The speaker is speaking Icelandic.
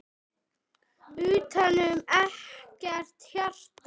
Utanum ekkert hjarta.